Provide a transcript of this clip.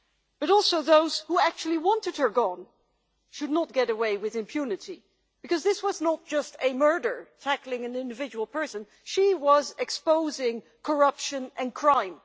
But also those who actually wanted her gone should not get away with impunity, because this was not just a murder tackling an individual person she was exposing corruption and crime.